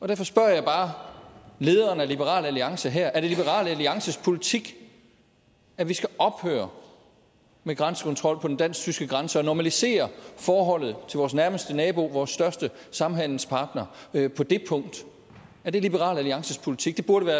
derfor spørger jeg bare lederen af liberal alliance her er det liberal alliances politik at vi skal ophøre med grænsekontrol på den dansk tyske grænse og normalisere forholdet til vores nærmeste nabo vores største samhandelspartner på det punkt er det liberal alliances politik det burde